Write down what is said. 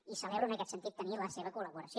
i celebro en aquest sentit tenir la seva col·laboració